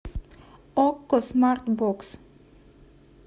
окко смарт бокс